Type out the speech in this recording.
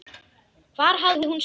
Hvar hafði hún spurt þau?